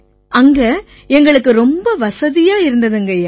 அங்க ரொம்ப வசதியா இருந்திருக்குங்கய்யா